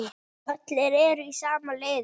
Allir eru í sama liði.